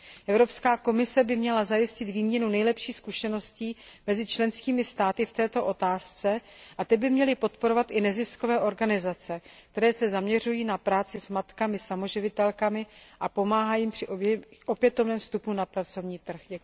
Evropská komise by měla zajistit výměnu nejlepších zkušeností mezi členskými státy v této otázce a ty by měly podporovat i neziskové organizace, které se zaměřují na práci s matkami samoživitelkami a pomáhají jim při opětovném vstupu na pracovní trh.